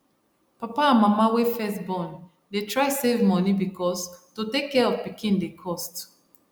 papa and mama wey first born dey try save money because to take care of pikin dey cost